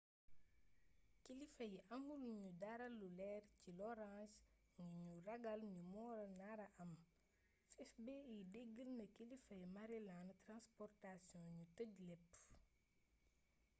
kilifa yi amul ñudara lu leer ci loraange ngi ñu ragal ni moo nara am fbi deggal na kilifay maryland transportaion ñu tëj lépp